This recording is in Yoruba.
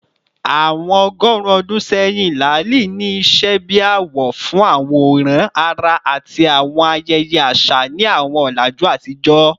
Awọn ọgọrun ọdun sẹyin, laali ni iṣẹ bi awọ fun aworan ara ati awọn ayẹyẹ aṣa ni awọn ọlaju atijọ.